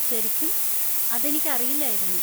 ശരിക്കും? അതെനിക്കറിയില്ലായിരുന്നു.